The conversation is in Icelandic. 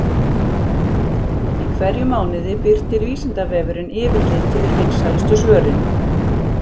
Í hverjum mánuði birtir Vísindavefurinn yfirlit yfir vinsælustu svörin.